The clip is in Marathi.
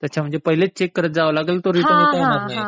अच्छा म्हणजे पहिलेच चेक करत जावं लागल ते रिटर्न येता येणार नाही.